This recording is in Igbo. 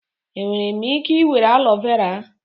Enwere m ike were aloe vera?